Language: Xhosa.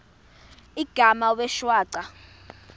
igama wee shwaca